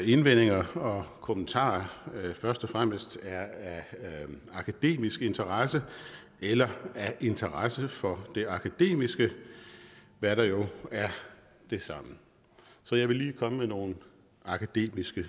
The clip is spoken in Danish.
indvendinger og kommentarer først og fremmest er af akademisk interesse eller af interesse for det akademiske hvad der jo er det samme så jeg vil lige komme med nogle akademiske